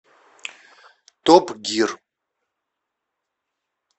топ гир